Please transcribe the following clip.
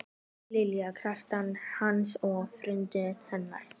Nei, Lilja kærastan hans og foreldrar hennar.